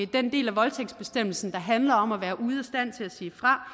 den del af voldtægtsbestemmelsen der handler om at være ude af stand til at sige fra